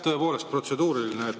Tõepoolest protseduuriline.